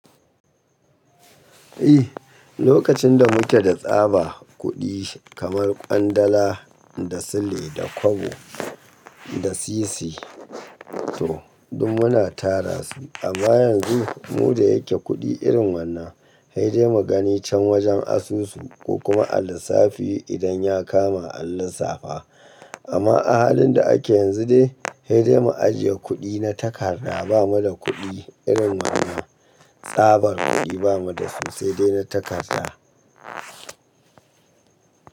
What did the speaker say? Eh, lokacin da muke da tsaba kuɗi kamar ƙwandala da sile da kobo da sisi to duk muna tara su. Amma yanzu mu da yake kuɗi irin wannan, hei dai mu gani can wajen asusu ko kuma a lissafi idan ya kama a lissafa. Amma a halin da ake yanzu dai, hei dai mu ajiye kuɗi na takarda ba mu da kuɗi irin wannan. Tsabar kuɗi ba mu da su sai dai na takarda.